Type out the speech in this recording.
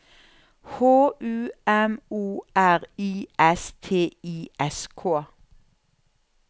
H U M O R I S T I S K